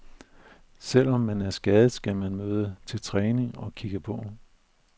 Selv om man er skadet, skal man møde til træning og kigge på.